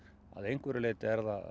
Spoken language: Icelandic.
að einhverju leyti